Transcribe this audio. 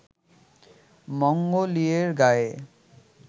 মঙ্গলীয়ের গায়ে